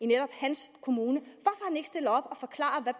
netop hans kommune